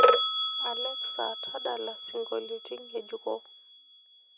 alexa tadala songolitin ngejuko